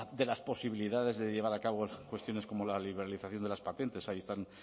de las posibilidades de llevar a cabo cuestiones como la liberalización de las patentes ahí están